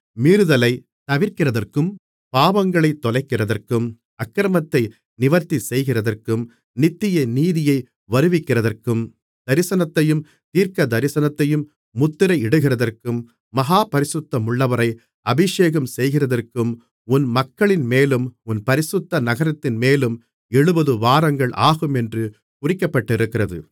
மீறுதலைத் தவிர்க்கிறதற்கும் பாவங்களைத் தொலைக்கிறதற்கும் அக்கிரமத்தை நிவிர்த்திசெய்கிறதற்கும் நித்திய நீதியை வருவிக்கிறதற்கும் தரிசனத்தையும் தீர்க்கதரிசனத்தையும் முத்திரை இடுகிறதற்கும் மகா பரிசுத்தமுள்ளவரை அபிஷேகம்செய்கிறதற்கும் உன் மக்களின்மேலும் உன் பரிசுத்த நகரத்தின்மேலும் எழுபதுவாரங்கள் ஆகுமென்று குறிக்கப்பட்டிருக்கிறது